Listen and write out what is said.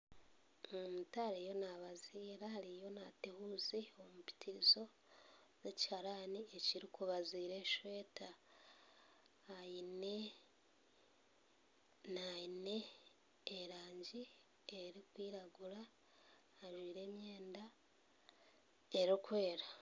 Omuntu ariyo nabaziira ariyo naata ehuzi omu mpitirizo yekiharani ekirikubaziira esweta aine erangi erikwiragura ajwaire emyenda erikwera